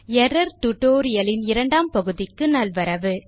error tutorial லின் இரண்டாம் பகுதிக்கு நல்வரவு